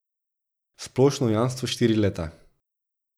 Splošno jamstvo štiri leta.